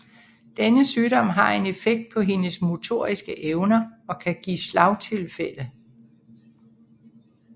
Denne sygdom har en effekt på hendes motoriske evner og kan give slagtilfælde